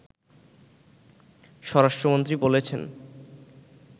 স্বরাষ্ট্রমন্ত্রী বলেছেন